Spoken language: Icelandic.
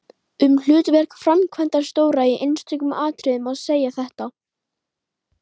Um hlutverk framkvæmdastjóra í einstökum atriðum má segja þetta